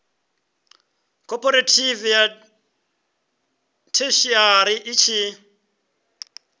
khophorethivi ya theshiari i tshi